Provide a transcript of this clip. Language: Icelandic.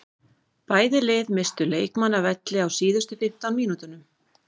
Bæði lið misstu leikmann af velli á síðustu fimmtán mínútunum.